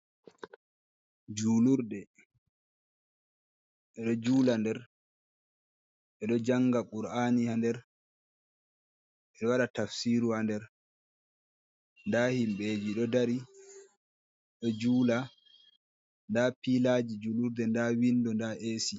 Julurde ɓe ɗo jula nder, ɓe ɗo njanga qur’ani ha nder, ɓe ɗo waɗa tafsiru ha nder, nda himɓeji ɗo dari ɗo jula, nda pilaji julurde, nda windo, nda AC.